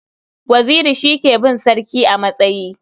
Waziri shi ke bin sarki a matsayi.